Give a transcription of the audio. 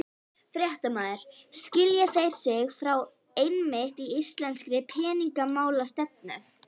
Fréttamaður: Skilja þeir sig frá einmitt íslenskri peningamálastefnu?